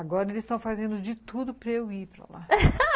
Agora eles estão fazendo de tudo para eu ir para lá